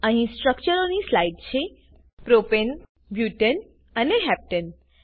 અહી સ્ટ્રક્ચરોની સ્લાઈડ છે પ્રોપને બુટને અને હેપ્ટને